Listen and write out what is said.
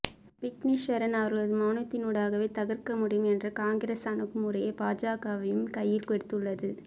விக்னேஸ்வரன் அவர்களது மௌனத்தினூடாகவே தகர்க்க முடியும் என்ற காங்கிரஸ் அணுகுமுறையை பாஜகவும் கையில் எடுத்துள்ளது